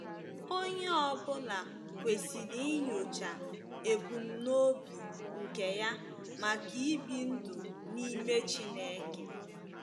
Onye ọ bụla kwesịrị inyocha ebumnobi nke ya maka ibi ndụ n’ime Chineke.